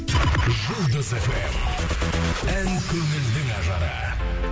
жұлдыз фм ән көңілдің ажары